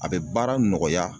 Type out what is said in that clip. A be baara nɔgɔya